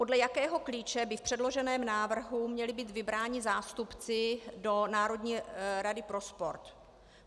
Podle jakého klíče by v předloženém návrhu měli být vybráni zástupci do Národní rady pro sport?